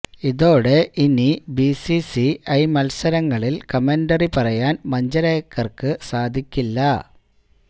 ഇതോടെ ഇനി BCC I മത്സരങ്ങളില് കമന്ററി പറയാന് മഞ്ജരേക്കര്ക്ക് സാധിക്കില്ല